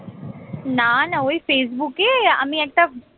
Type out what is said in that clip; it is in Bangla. না না ওই ফেসবুকে আমি একটা